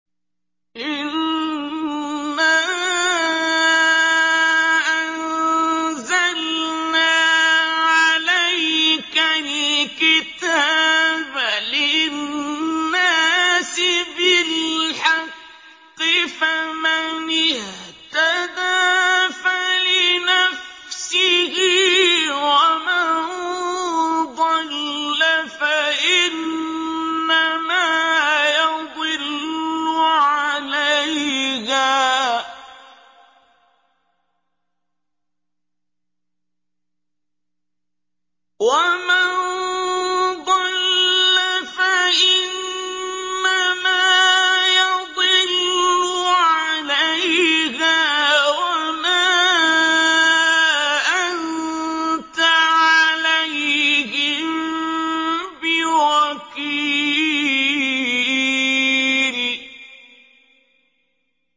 إِنَّا أَنزَلْنَا عَلَيْكَ الْكِتَابَ لِلنَّاسِ بِالْحَقِّ ۖ فَمَنِ اهْتَدَىٰ فَلِنَفْسِهِ ۖ وَمَن ضَلَّ فَإِنَّمَا يَضِلُّ عَلَيْهَا ۖ وَمَا أَنتَ عَلَيْهِم بِوَكِيلٍ